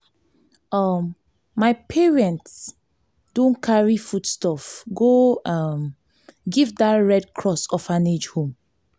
um my parents don carry foodstuff go um give dat red cross orphanage home.